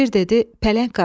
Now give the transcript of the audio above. Şir dedi: Pələng qardaş.